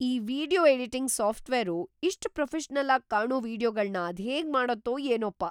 ಈ video editing software ಇಷ್ಟ್‌ professional ಆಗ್ ಕಾಣೋ ವೀಡಿಯೊಗಳ್ನ ಅದ್ಹೇಗ್‌ ಮಾಡತ್ತೋ ಏನೋಪ್ಪ!